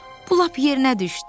Bu lap yerinə düşdü.